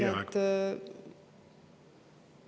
Teie aeg!